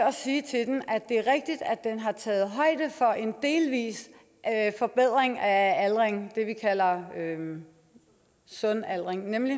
at sige til den at det er rigtigt at den har taget højde for en delvis forbedring af aldring det vi kalder sund aldring men